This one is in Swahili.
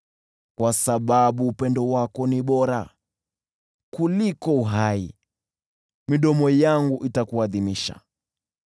Kwa sababu upendo wako ni bora kuliko uhai, midomo yangu itakuadhimisha.